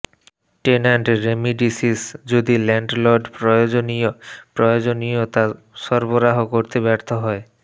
tenant remedies যদি landlord প্রয়োজনীয় প্রয়োজনীয়তা সরবরাহ করতে ব্যর্থ হয়